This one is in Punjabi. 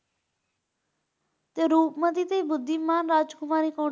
ਤੇ ਰੂਪਮਤੀ ਤੇ ਬੁੱਧੀਵਾਨ ਰਾਜਕੁਮਾਰੀ ਕੌਣ?